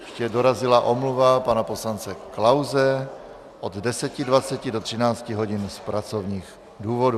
Ještě dorazila omluva pana poslance Klause od 10.20 do 13 hodin z pracovních důvodů.